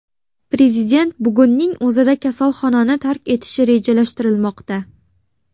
Prezident bugunning o‘zida kasalxonani tark etishi rejalashtirilmoqda.